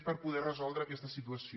per poder resoldre aquesta situació